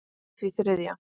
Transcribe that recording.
í því þriðja.